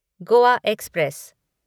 Goa express